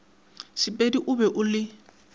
sepedi o be o le